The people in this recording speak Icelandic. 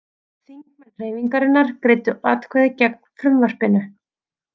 Þingmenn Hreyfingarinnar greiddu atkvæði gegn frumvarpinu